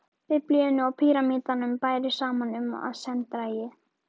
Biblíunni og pýramídanum bæri saman um, að senn drægi